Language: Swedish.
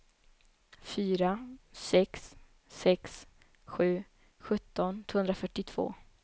fyra sex sex sju sjutton tvåhundrafyrtiotvå